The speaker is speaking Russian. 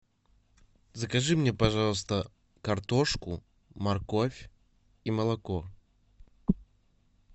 закажи мне пожалуйста картошку морковь и молоко